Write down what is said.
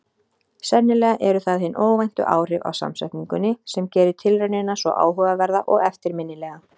Sennilega eru það hin óvæntu áhrif af samsetningunni sem gerir tilraunina svo áhugaverða og eftirminnilega.